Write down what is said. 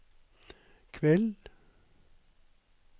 kveld